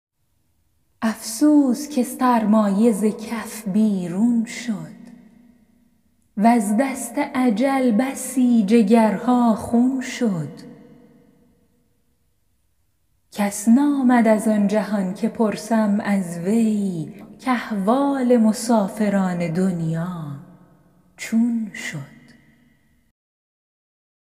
افسوس که سرمایه ز کف بیرون شد وز دست اجل بسی جگرها خون شد کس نآمد از آن جهان که پرسم از وی کاحوال مسافران دنیا چون شد